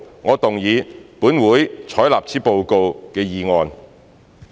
我動議"本會採納此報告"的議案。